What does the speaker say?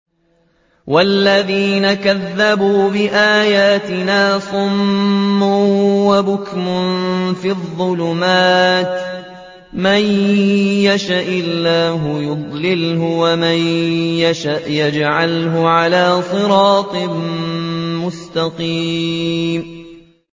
وَالَّذِينَ كَذَّبُوا بِآيَاتِنَا صُمٌّ وَبُكْمٌ فِي الظُّلُمَاتِ ۗ مَن يَشَإِ اللَّهُ يُضْلِلْهُ وَمَن يَشَأْ يَجْعَلْهُ عَلَىٰ صِرَاطٍ مُّسْتَقِيمٍ